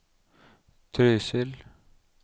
Trysil